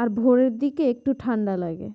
আর ভোরের দিকে আবার একটু ঠাণ্ডা লাগে